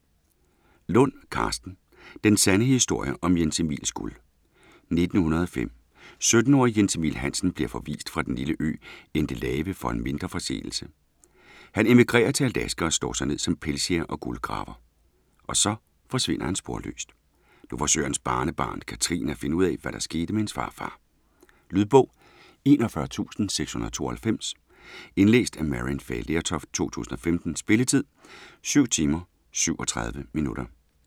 Lund, Karsten: Den sande historie om Jens Emils guld 1905. 17-årige Jens Emil Hansen bliver forvist fra den lille ø Endelave for en mindre forseelse. Han emigrerer til Alaska og slår sig ned som pelsjæger og guldgraver. Og så forsvinder han sporløst. Nu forsøger hans barnebarn, Catherine, at finde ud af, hvad der skete med hendes farfar. Lydbog 41692 Indlæst af Maryann Fay Lertoft, 2015. Spilletid: 7 timer, 37 minutter.